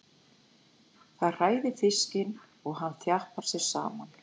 Það hræðir fiskinn og hann þjappar sér saman.